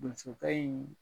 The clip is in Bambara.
Donsokɛ in